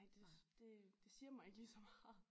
Nej det det siger mig ikke lige så meget